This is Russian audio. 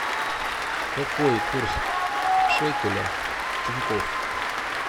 какой курс шекеля в тинькофф